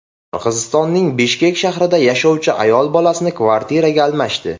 Qirg‘izistonning Bishkek shahrida yashovchi ayol bolasini kvartiraga almashdi.